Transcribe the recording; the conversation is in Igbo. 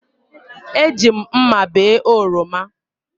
Eji m mma bee oroma